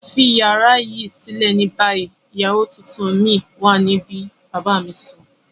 Fi yara yii silẹ ni bayi! Iyawo tuntun mi wa nibi baba mi sọ.